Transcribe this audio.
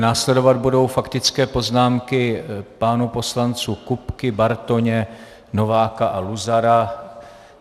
Následovat budou faktické poznámky pánů poslanců Kupky, Bartoně, Nováka a Luzara.